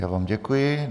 Já vám děkuji.